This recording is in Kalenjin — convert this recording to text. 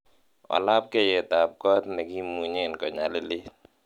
wallabkeiyetab kot negimunyen konyalilit